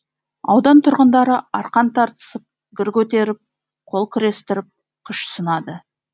аудан тұрғындары арқан тартысып гір көтеріп қол күрестіріп күш сынады